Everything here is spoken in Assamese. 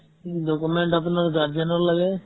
document আপোনাৰ guardian ৰ লাগে